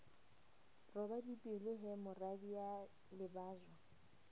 roba dipelo he moradia lebajwa